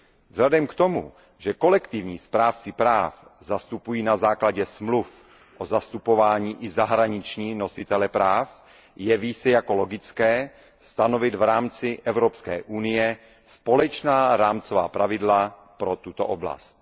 Vzhledem k tomu, že kolektivní správci práv zastupují na základě smluv o zastupování i zahraniční nositele práv, jeví se jako logické stanovit v rámci Evropské unie společná rámcová pravidla pro tuto oblast.